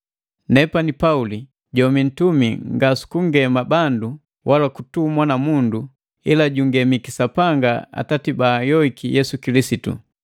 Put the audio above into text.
Nepani na Pauli, jomii nuntumi nga sukungema bandu wala kutumwa na mundu, ila jungemiki Sapanga Atati baanhyoiki Yesu Kilisitu,